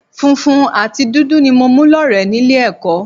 Funfun àti dúdú ni mo mú lọ́rẹ̀ẹ́ nílé ẹ̀kọ́